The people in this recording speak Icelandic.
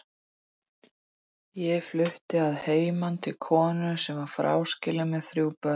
Ég flutti að heiman til konu sem var fráskilin með þrjú börn.